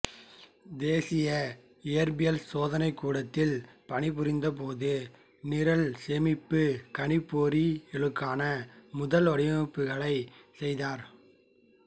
தேசிய இயற்பியல் சோதனைக்கூடத்தில் பணிபுரிந்த போது நிரல் சேமிப்புக் கணிப்பொறிகளுக்கான முதல் வடிவமைப்புக்களை செய்தார்